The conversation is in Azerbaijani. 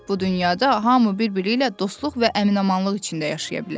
Bu dünyada hamı bir-biri ilə dostluq və əmin-amanlıq içində yaşaya bilər.